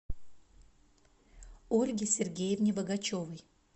ольге сергеевне богачевой